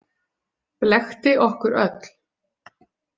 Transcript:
Blekkti okkur öll.